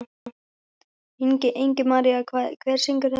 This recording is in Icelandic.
Ingimaría, hver syngur þetta lag?